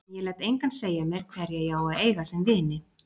En ég læt engan segja mér hverja ég á að eiga sem vini.